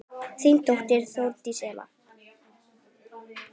Þín dóttir, Þórdís Eva.